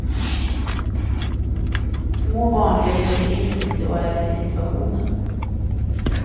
Små barn lever sig in i och är i situationen.